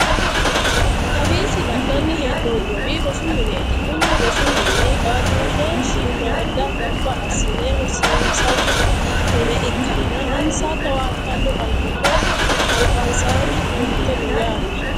Kawiichi la'nanni hee'noommowi rosu mineeti. Kuni rosi mini qaaqquulle shiimaadda gamba assine rosiinsanni mine ikkanna insa towaattanno awuuto albansaanni uurrite no yaate.